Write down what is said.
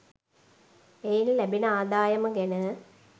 එයින් ලැබෙන ආදායම ගැන